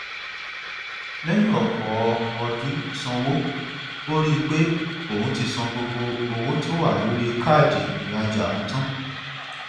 lẹyìn ọpọ ọdún sanwó ó rí pé òun ti san gbogbo owó tó wà lórí káàdì ìrajà òun tán